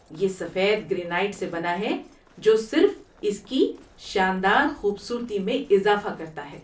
یہ سفید گرینائٹ سے بنا ہے جو صرف اس کی شاندار خوبصورتی میں اضافہ کرتا ہے۔